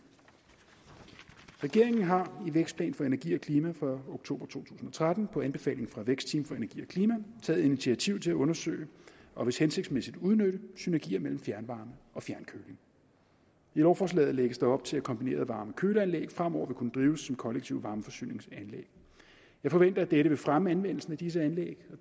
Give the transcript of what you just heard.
regeringen har i vækstplan for energi og klima fra oktober to tusind og tretten på anbefaling af vækstteam for energi og klima taget initiativ til at undersøge og hvis hensigtsmæssigt udnytte synergier mellem fjernvarme og fjernkøling i lovforslaget lægges der op til at kombineret varme og køleanlæg fremover vil kunne drives som kollektive varmeforsyningsanlæg jeg forventer at dette vil fremme anvendelsen af disse anlæg